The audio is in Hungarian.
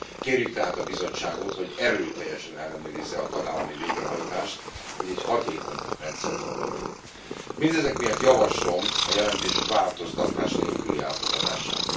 Kérjük tehát a Bizottságot, hogy erőteljesen ellenőrizze a tagállami végrehajtást, hogy egy hatékony rendszert kapjunk. Mindezek miatt javaslom a jelentés változtatás nélküli elfogadását.